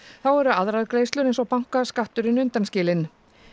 þá eru aðrar greiðslur eins og bankaskatturinn undanskilinn